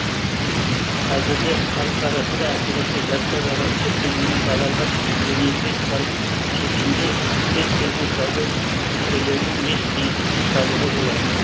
қазірде халық арасында әсіресе жастар арасында кеңінен таралған энергетикалық сусынды кез келген сауда нүктелерінен еш қиындықсыз табуға болады